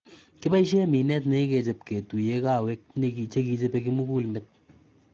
Kibaisyee mineet nekikuchep ketuyee kaweek chekichope kimugulmet